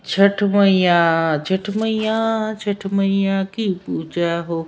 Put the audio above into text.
छठ मईय्या छठ मईय्या छठ मईय्या छठ मईय्या की पूजा हो।